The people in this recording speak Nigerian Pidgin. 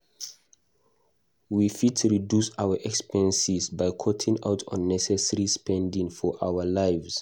We fit reduce our expenses by cutting out unnecessary spending for our lives.